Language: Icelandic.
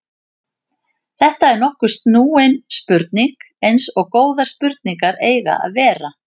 Þetta er nokkuð snúin spurning eins og góðar spurningar eiga að vera.